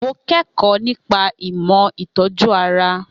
Mo kẹ́kọ̀ọ́ nípa ìmọ̀ ìtọ́jú ara